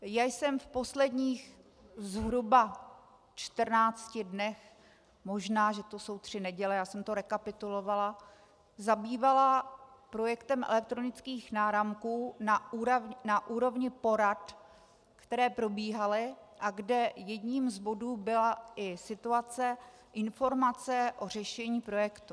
Já jsem v posledních zhruba 14 dnech, možná že to jsou tři neděle, já jsem to rekapitulovala, zabývala projektem elektronických náramků na úrovni porad, které probíhaly a kde jedním z bodů byla i situace, informace o řešení projektu.